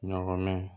Ɲɔgɔn mɛn